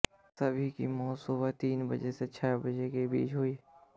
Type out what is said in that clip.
सभी की मौत सुबह तीन बजे से छह बजे के बीच हुई